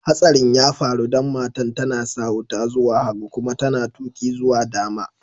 Hatsarin ya faru dan matan ta na sa wuta zuwa hagu kuma ta na tuki zuwa dama.